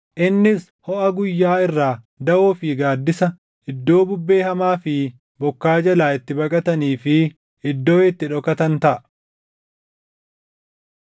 Innis hoʼa guyyaa irraa daʼoo fi gaaddisa, iddoo bubbee hamaa fi bokkaa jalaa itti baqatanii fi iddoo itti dhokatan taʼa.